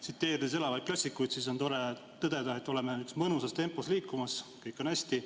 Tsiteerides elavaid klassikuid, on tore tõdeda, et liigume mõnusas tempos ja kõik on hästi.